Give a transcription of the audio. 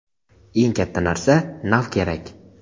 Eng katta narsa - nav kerak.